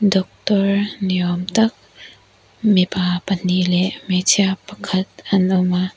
doctor ni awm tak mipa pahnih leh hmeichhia pakhat an awm a.